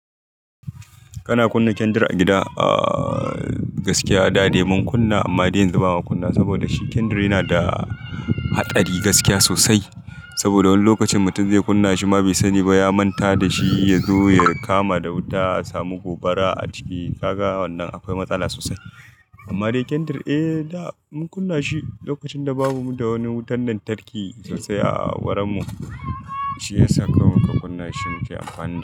Kana kunna kyandir a gida? Aa gaskiya da dai mun kunna amma dai yanzu bamu kunna saboda shi kyandir yana da haɗari gaskiya sosai. Saboda wani lokacin mutum zai kunna shi ba mai sani ba ya manta da shi ya zo ya kama da wuta, ya samu gobara a ciki kaga wannan akwai matsala sosai. Amma dai kyandir eh da mun kunna shi lokacin da babu da wani wutar lantarki sosai a wurin mu, shi yasa ka mun ka kunna shi muke a fannin.